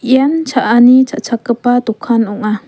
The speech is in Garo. ian cha·ani cha·chakgipa dokan ong·a.